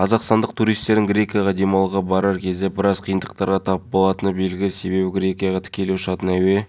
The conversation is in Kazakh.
сонымен қатаар ол таяуда баспасөз маслихаты болатынын сол жерде террористерге қатысты толық ақпарат берілетінін атап өтті